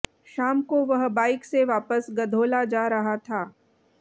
शाम को वह बाइक से वापस गधोला जा रहा था